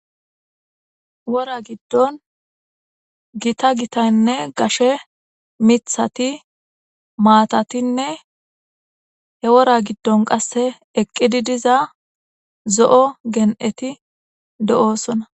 wora giddon gita gitaynne gashe mithati maatatinne he wora giddon qasse eqqidi diza zo7o gen7eti do7oosona